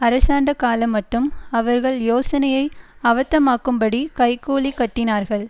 அரசாண்டகாலமட்டும் அவர்கள் யோசனையை அவத்தமாக்கும்படி கை கூலி கட்டினார்கள்